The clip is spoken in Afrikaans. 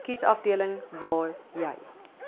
kiesafdeling waar jy